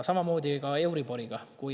Samamoodi oli ka euriboriga.